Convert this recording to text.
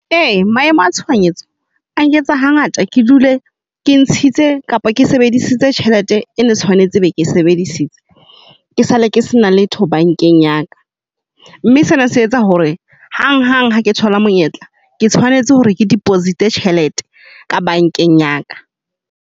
Ee maemo a tshoanyetso a nketsa hangata ke dule ke ntshitse kapa ke sebedisitse tjhelete e ne tshwanetse be ke sebedisitse ke sale ke sena letho bankeng ya ka. Mme sena se etsa hore hang hang ha ke thola monyetla, ke tshwanetse hore ke deposit tjhelete ka bankeng ya ka.